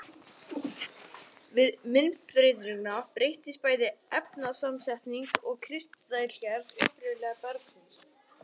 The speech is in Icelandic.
Við myndbreytingu breytast bæði efnasamsetning og kristalgerð upprunalega bergsins.